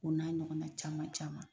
O n'a ɲɔgɔnna caman caman.